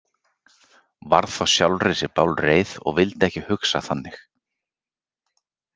Varð þá sjálfri sér bálreið og vildi ekki hugsa þannig.